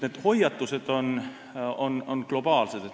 Need hoiatused on globaalsed.